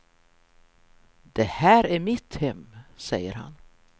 Det här är mitt hem, säger han.